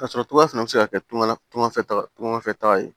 K'a sɔrɔ cogoya fana bɛ se ka kɛ tagama fɛta ye